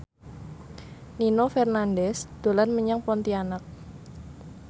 Nino Fernandez dolan menyang Pontianak